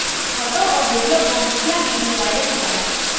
photo और video को मुखिया ने ही वायरल किया है